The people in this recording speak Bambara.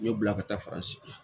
U y'o bila ka taa fara si kan